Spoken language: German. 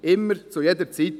immer, zu jeder Zeit.